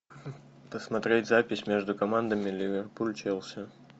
посмотреть запись между командами ливерпуль челси